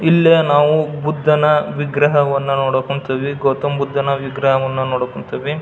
ಇಲ್ಲಿ ನಾವು ಬುದ್ಧನ ವಿಗ್ರಹ ನೋಡಕ್ ಕುಂತಿವಿ ಗೌತಮ ಬುದ್ಧನ ವಿಗ್ರಹ ನೋಡಕ್ ಕುಂತಿವಿ.